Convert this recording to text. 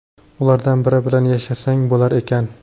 Ulardan biri bilan yashasang bo‘lar ekan!”.